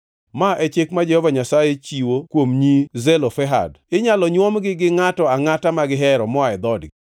Ma e chik ma Jehova Nyasaye chiwo kuom nyi Zelofehad: Inyalo nywomgi gi ngʼato angʼata ma gihero moa e dhoodgi.